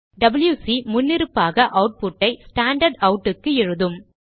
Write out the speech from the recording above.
WC முன்னிருப்பாக அவுட்புட்டை standard out க்கு எழுதும்